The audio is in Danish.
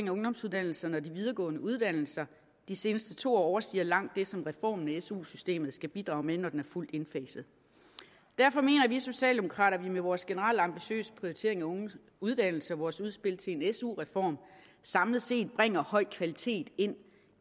af ungdomsuddannelserne og de videregående uddannelser de seneste to år overstiger langt det som reformen af su systemet skal bidrage med når den er fuldt indfaset derfor mener vi socialdemokrater at vi med vores generelt ambitiøse prioritering af unges uddannelse og vores udspil til en su reform samlet set bringer høj kvalitet ind